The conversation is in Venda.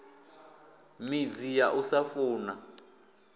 midzi ya u sa funa